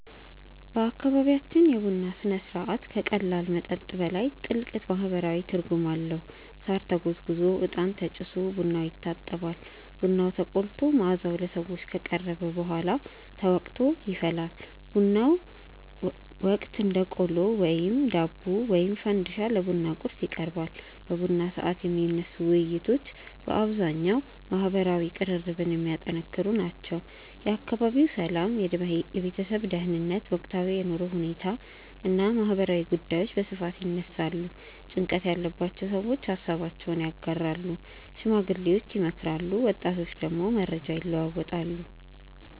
በአካባቢያችን የቡና ሥነ ሥርዓት ከቀላል መጠጥ በላይ ጥልቅ ማህበራዊ ትርጉም አለው። ሳር ተጎዝጉዞ፣ እጣን ተጭሶ ቡናው ይታጠባል። ቡናው ተቆልቶ መዓዛው ለሰዎች ከቀረበ በኋላ ተወቅጦ ይፈላል። በቡናው ወቅት እንደ ቆሎ፣ ዳቦ ወይም ፈንዲሻ ለቡና ቁርስ ይቀርባል። በቡና ሰዓት የሚነሱ ውይይቶች በአብዛኛው ማህበራዊ ቅርርብን የሚያጠነክሩ ናቸው። የአካባቢው ሰላም፣ የቤተሰብ ደህንነት፣ ወቅታዊ የኑሮ ሁኔታ እና ማህበራዊ ጉዳዮች በስፋት ይነሳሉ። ጭንቀት ያለባቸው ሰዎች ሃሳባቸውን ያጋራሉ፣ ሽማግሌዎች ይመክራሉ፣ ወጣቶች ደግሞ መረጃ ይለዋወጣሉ።